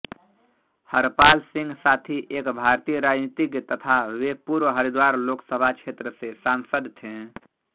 हरपाल सिंह साथी एक भारतीय राजनीतिज्ञ तथा वे पूर्व हरिद्वार लोकसभा क्षेत्र से सांसद थे